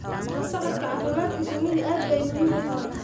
La socodka caafimaadka shinnidu aad bay muhiim u tahay.